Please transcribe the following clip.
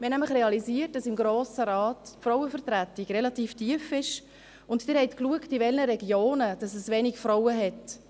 Wir haben nämlich realisiert, dass die Frauenvertretung im Grossen Rat relativ tief ist, und Sie haben geschaut, in welchen Regionen es wenige Frauen hat: